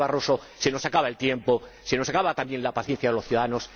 Señor Barroso, se nos acaba el tiempo, se acaba también la paciencia de los ciudadanos.